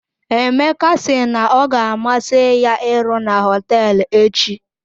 Emeka si na ọ ga amasị ya iru na hotel echi.